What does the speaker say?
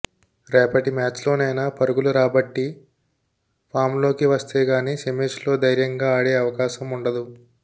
రేపటి మ్యాచ్లోనైనా పరుగులు రాబట్టి ఫామ్లోకి వస్తేగానీ సెమీస్లో ధైర్యంగా ఆడే అవకాశం ఉండదు